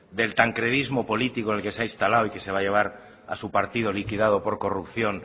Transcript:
del tancredismo político en el que se ha instalado y que se va a llevar a su partido liquidado por corrupción